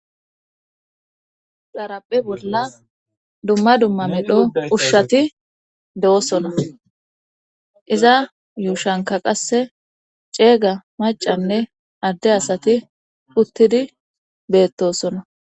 xarappe bolla dumma dumma midho ushshati de7osona iza yuushanka qasse ceega macanne adde asati puttidi beettosona